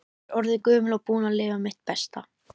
Ég er orðin gömul og búin að lifa mitt besta.